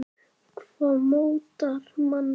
Hvað mótar manninn?